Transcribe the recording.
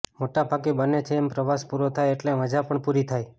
મોટા ભાગે બને છે એમ પ્રવાસ પૂરો થાય એટલે મજા પણ પૂરી થાય